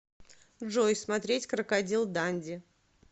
джой смотреть крокодил данди